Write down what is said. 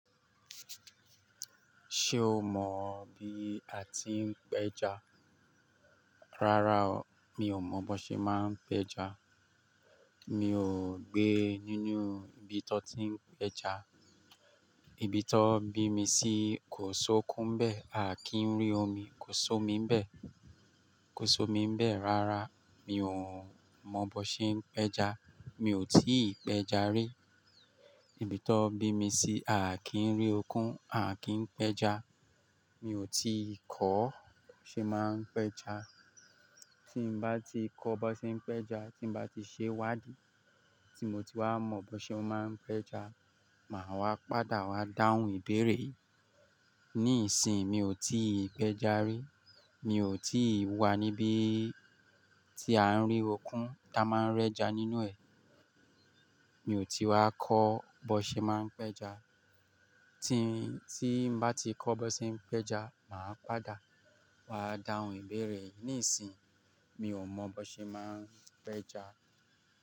Ṣé o mọ bí a ti ń pẹja? Rárá o, mi ò mọ bó ṣe máa ń pẹja. Mi ò gbé nínú ibi tó ti ń pẹja. Ibi tọ́ bí mi sí kò sókún bẹ́ẹ̀, à kí ń rí omi, kò so mí bẹ́ẹ̀, kò so mí bẹ́ẹ̀. Rárá, mi ò mọ bó ṣe ń pẹja, mi ò tí ì pẹja rí. Ibi tọ́ bí mi sí, à kí ń rí okun, à kí ń pẹja. Mi ò tí ì kọ́ bó ṣe máa ń pẹja. Tí m bá ti kọ́ bó ṣe ń pẹja, tí m bá ti ṣe wádìí, tí mo ti wá mọ bó ṣe máa ń pẹja, màá wá padà wá dáhùn ìbéèrè yìí. Nísìí, mi ò tí ì pẹja rí, mi ò tí ì wá níbí tí à ń rí okun tá máa ń rẹ́ja nínú ẹ̀. Mi ò tí wá kọ́ bó ṣe máa ń pẹja. Tí, tí bá ti kọ́ bó ṣe ń pẹja, màá padà wá dáhùn ìbéèrè. Nísìí, mi ò mọ bó ṣe máa ń pẹja.